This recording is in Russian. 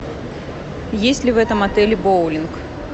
есть ли в этом отеле боулинг